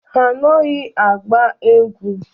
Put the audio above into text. Ha anaghị agba egwu.